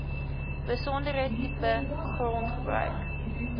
besondere tipe grondgebruik